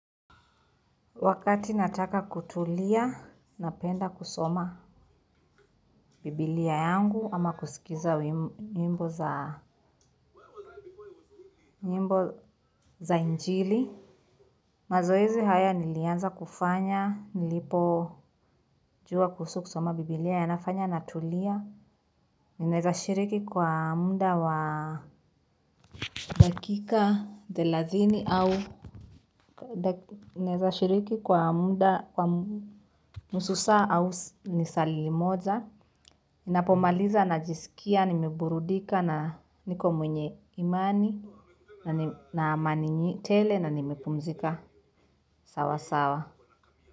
Wakati nataka kutulia, napenda kusoma bibilia yangu, ama kusikiza nyimbo za njili. Mazoezi haya nilianza kufanya, nilipojua kuhusu kusoma biblia. Yanafanya natulia. Ninaweza shiriki kwa muda wa dakika thelathini au. Ninaweza shiriki kwa muda kwa nusu saa au lisaa limoja. Ninapomaliza najisikia nimeburudika na niko mwenye imani na amani tele na nimepumzika sawa sawa.